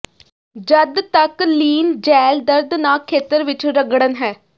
ਜਦ ਤੱਕ ਲੀਨ ਜੈੱਲ ਦਰਦਨਾਕ ਖੇਤਰ ਵਿੱਚ ਰਗੜਨ ਹੈ